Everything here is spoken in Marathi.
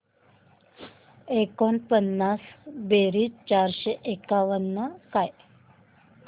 एकोणपन्नास बेरीज चारशे एकावन्न काय